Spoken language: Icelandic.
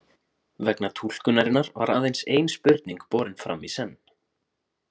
Vegna túlkunarinnar var aðeins ein spurning borin fram í senn.